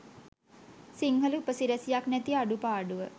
සිංහල උපසිරැසියක් නැති අඩුපාඩුව